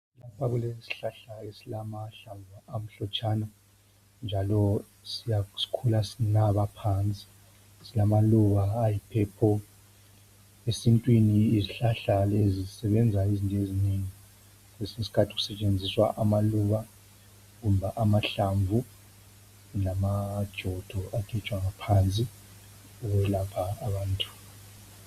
lapha kulesihlahla esilamahlamvu amhlotshana njalo sikhula sinaba phansi silamaluba ayi purple esintwini izihlahla lezi zisebenza izinto ezinengi kwesinye isikhathi kusetshenziswa amaluba kumbe amahlamvu lamajodo agejwa ngaphansi ukwelapha abantu